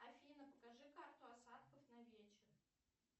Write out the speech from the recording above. афина покажи карту осадков на вечер